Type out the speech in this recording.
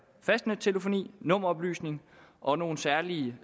fastnettelefoni nummeroplysning og nogle særlige